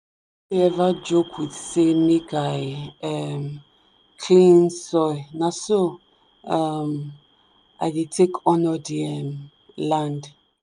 no dey ever joke with say make i um clean soil na so um i dey take honour the um land.